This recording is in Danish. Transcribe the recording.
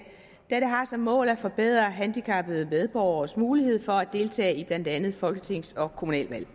da det har som mål at forbedre handicappede medborgeres mulighed for at deltage i blandt andet folketingsvalg og kommunalvalg